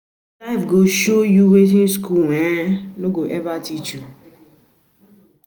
Life go show you wetin school no um go ever teach you.